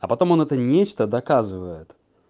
а потом он это нечто доказывает